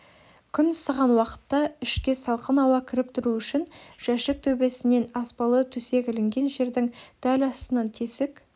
күн ысыған уақытта ішке салқын ауа кіріп тұруы үшін жәшік төбесінен аспалы төсек ілінген жердің дәл астынан тесік